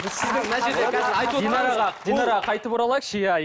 динараға динараға қайтып оралайықшы иә